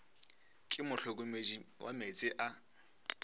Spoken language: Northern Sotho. ke mohlokomedi wa meetse a